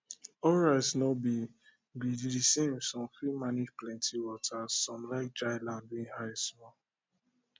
all rice no be be the samesome fit manage plenty water some like dry land wey high small